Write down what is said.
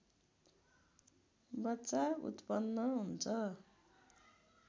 बच्चा उत्पन्न हुन्छ